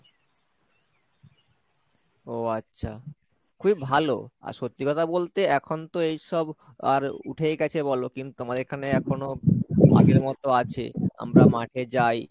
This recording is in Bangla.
ও আচ্ছা খুবই ভালো আর সত্যি কথা বলতে এখন তো এইসব আর উঠেই গেছে বলো কিন্তু আমাদের এখানে এখনো আগের মতো আছে আমরা মাঠে যাই,